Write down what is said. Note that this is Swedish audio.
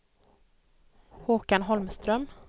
Håkan Holmström